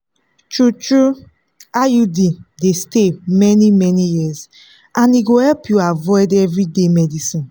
true- true iud dey stay many-many years and e go help you avoid everyday medicines.